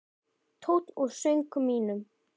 Tónn úr söng mínum.